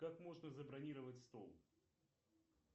как можно забронировать стол